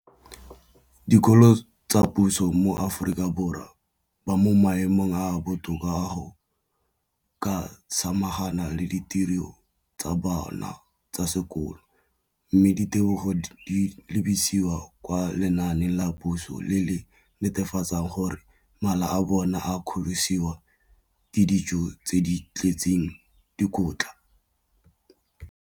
Dikolo tsa puso mo Aforika Borwa ba mo maemong a a botoka a go ka samagana le ditiro tsa bona tsa sekolo, mme ditebogo di lebisiwa kwa lenaaneng la puso le le netefatsang gore mala a bona a kgorisitswe ka dijo tse di tletseng dikotla.